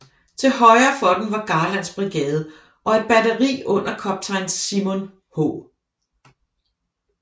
Til højre for dem var Garlands brigade og et batteri under kaptajn Simon H